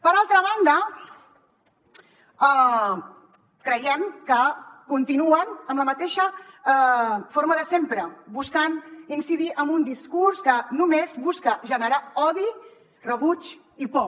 per altra banda creiem que continuen amb la mateixa forma de sempre buscant incidir amb un discurs que només busca generar odi rebuig i por